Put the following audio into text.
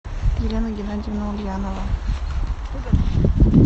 елена геннадьевна ульянова